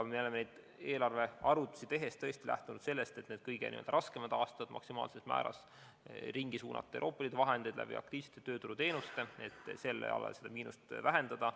Me oleme eelarvearvutusi tehes lähtunud sellest, et kõige raskematel aastatel maksimaalses määras ringi suunata Euroopa Liidu vahendeid aktiivsete tööturuteenuste abil, et seda miinust vähendada.